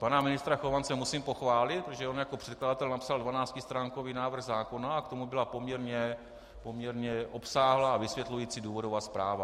Pana ministra Chovance musím pochválit, protože on jako předkladatel napsal 12stránkový návrh zákona a k tomu byla poměrně obsáhlá a vysvětlující důvodová zpráva.